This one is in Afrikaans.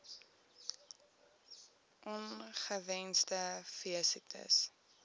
on ongewenste veesiektes